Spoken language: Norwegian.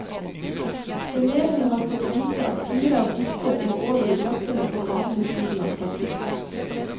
Elevene har fått vite at fire av disse må over i brakkene på den andre siden av plassen.